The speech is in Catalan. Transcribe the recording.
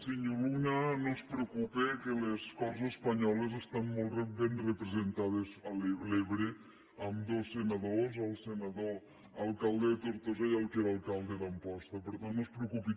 senyor luna no es preocupe que les corts espanyoles estan molt ben representades a l’ebre amb dos senadors el senador alcalde de tortosa i el que era alcalde de amposta per tant no es preocupi